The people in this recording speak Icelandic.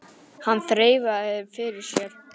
Hann þreifaði fyrir sér.